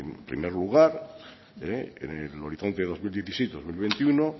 en primer lugar en el horizonte dos mil diecisiete dos mil veintiuno